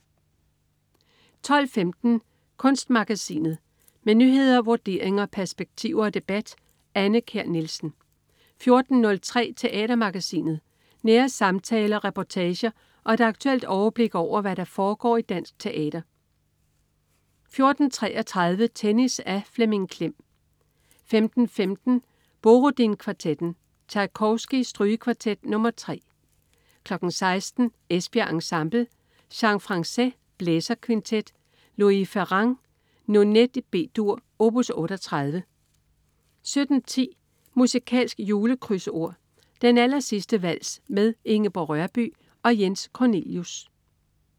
12.15 Kunstmagasinet. Med nyheder, vurderinger, perspektiver og debat. Anne Kjær Nielsen 14.03 Teatermagasinet. Nære samtaler, reportager og et aktuelt overblik over, hvad der foregår i dansk teater 14.33 Tennis. Af Flemming Klem 15.15 Borodin Kvartetten. Tjajkovskij: Strygekvartet nr. 3 16.00 Esbjerg Ensemble. Jean Francaix: Blæserkvintet. Louise Farrenc: Nonet i B-dur op. 38 17.10 Musikalsk julekrydsord. Den allersidste vals med Ingeborg Rørbye og Jens Cornelius